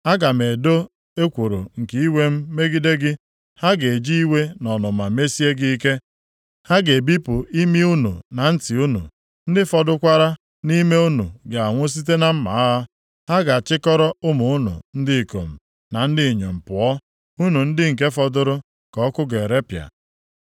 Aga m edo ekworo nke iwe m megide gị, ha ga-eji iwe na ọnụma mesie gị ike. Ha ga-ebipụ imi unu na ntị unu, ndị fọdụkwara nʼime unu ga-anwụ site na mma agha. Ha ga-achịkọrọ ụmụ unu ndị ikom na ndị inyom pụọ, unu ndị nke fọdụrụ ka ọkụ ga-erepịa.